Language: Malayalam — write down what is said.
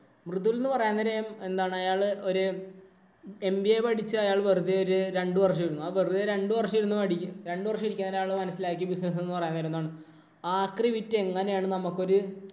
മൃദുല്‍ എന്ന് പറയാന്നേരം അയാള് ഒരു MBA പഠിച്ച അയാള്‍ വെറുതെ ഒരു രണ്ടു വര്‍ഷം ഇരുന്നു. വെറുതെ രണ്ടു വര്‍ഷം ഇരുന്നു പഠിക്കും. രണ്ടു വര്‍ഷം എന്ന് പറയുന്ന ഒരാള് മനസിലാക്കി business എന്ന് പറയുന്ന ആക്രി വിറ്റ്‌ എങ്ങനെയാണ് നമുക്കൊരു